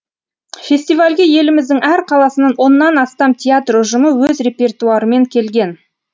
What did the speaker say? фестивальге еліміздің әр қаласынан оннан астам театр ұжымы өз репертуарымен келген